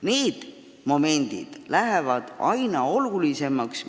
Need momendid muutuvad aina olulisemaks.